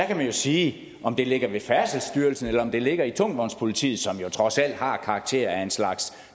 kan man sige at om det ligger i færdselsstyrelsen eller om det ligger i tungvognspolitiet som jo trods alt har karakter af en slags